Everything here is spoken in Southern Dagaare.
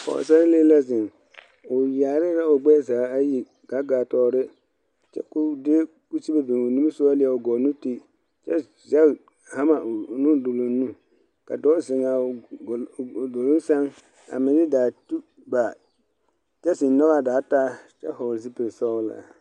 Pɔɔsarelee la zeŋ o yaare la o bonzaa ayi kaa gaa tɔɔre kyɛ ko o de kusibe beŋ o niŋesogɔ leɛ o gɔɔ nu ti kyɛ zɛge hama o nuduloŋ nu ka dɔɔ zeŋaa o duloŋ seŋ a meŋ daa tu ba kyɛ zeŋ nyɔgaa daa taa kyɛ hɔɔle zupil sɔglaa.